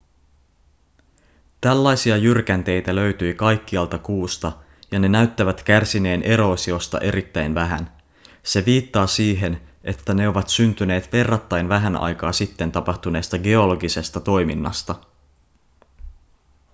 tällaisia jyrkänteitä löytyi kaikkialta kuusta ja ne näyttävät kärsineen eroosiosta erittäin vähän se viittaa siihen että ne ovat syntyneet verrattain vähän aikaa sitten tapahtuneesta geologisesta toiminnasta